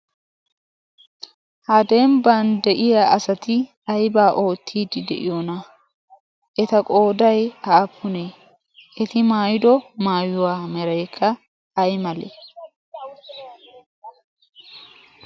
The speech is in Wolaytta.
ha demiban de'iya asati aibaa oottiidi de'iyoona eta qooday haapunee eti maayido maayuwaa mareekka ai malee